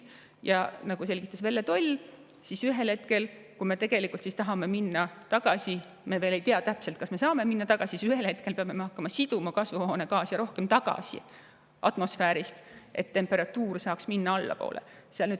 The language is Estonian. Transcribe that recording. Ja nagu selgitas Velle Toll, siis ühel hetkel, kui me tahame minna tagasi – me veel ei tea täpselt, kas me saame sinna tagasi minna –, peame me hakkama siduma kasvuhoonegaase rohkem tagasi atmosfäärist, et temperatuur saaks minna allapoole.